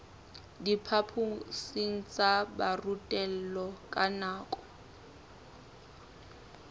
diphaphosing tsa borutelo ka nako